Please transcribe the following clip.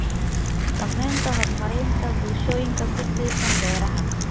Saamaynta horumarinta bulshooyinka ku tiirsan beeraha.